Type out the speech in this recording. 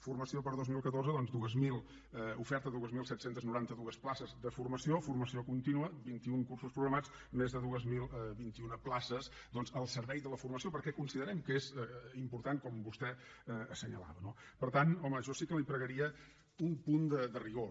formació per a dos mil catorze doncs oferta de dos mil set cents i noranta dos places de formació formació contínua vint un cursos programats més de dos mil vint u places al servei de la formació perquè considerem que és important com vostè assenyalava no per tant home jo sí que li pregaria un punt de rigor